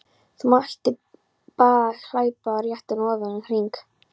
Það mátti bæði hlaupa réttan og öfugan hring.